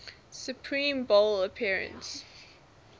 super bowl appearance